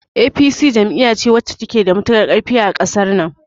APC jam'iya ce wacce ta ke da matukar ƙarfi a ƙasar nan